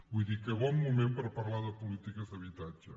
vull dir que bon moment per parlar de polítiques d’habitatge